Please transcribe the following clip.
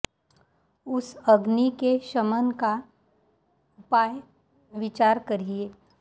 उस अग्नि के शमन का उपाय विचार करिए